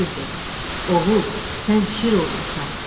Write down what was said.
Şir dedi: Oğul, sən şir oğlusan.